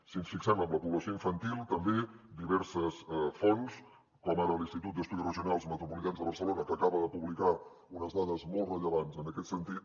si ens fixem en la població infantil també diverses fonts com ara l’institut d’estudis regionals metropolitans de barcelona que acaba de publicar unes dades molt rellevants en aquest sentit